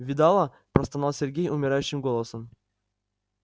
видала простонал сергей умирающим голосом